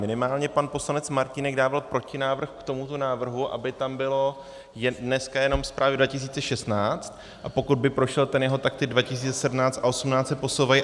Minimálně pan poslanec Martínek dával protinávrh k tomuto návrhu, aby tam byla dneska jenom zpráva 2016, a pokud by prošel ten jeho, tak ty 2017 a 2018 se posouvají.